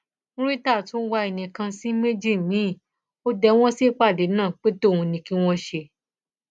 murità tún wá ẹnì kan sí méjì miín ó dé wọn sípàdé náà pé tòun ní kí wọn ṣe